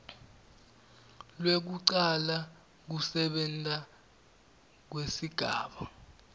lwekucala kusebenta kwesigaba